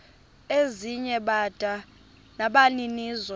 ezinye bada nabaninizo